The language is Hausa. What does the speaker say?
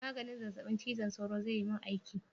Maganin zazzabin cizon sauro zai yi mun aiki?